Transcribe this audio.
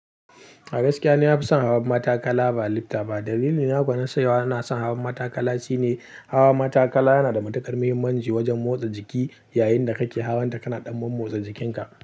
A gaskiya ni na fi son hawan matakala ba lifta ba. Dalilina da nace ina son hawan matakala shine hawan matakala yana da matuƙar muhimmanci wajen motsa jiki. Yayinda kake hawan ta kana ɗan mommotsa jikinka.